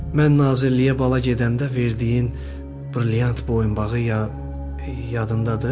Mən nazirliyə bala gedəndə verdiyin brilyant boyunbağı ya yadındadır?